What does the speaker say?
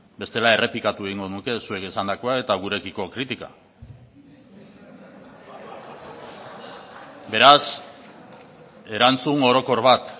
bestela errepikatu egingo nuke zuek esandakoa eta gurekiko kritika beraz erantzun orokor bat